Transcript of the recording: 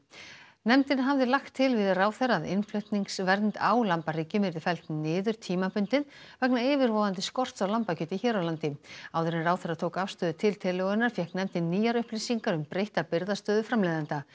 nefndin hafði lagt til við ráðherra að innflutningsvernd á lambahryggjum yrði felld niður tímabundið vegna yfirvofandi skorts á lambakjöti hér á landi áður en ráðherra tók afstöðu til tillögunnar fékk nefndin nýjar upplýsingar um breytta birgðastöðu framleiðenda